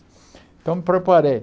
Então, me preparei.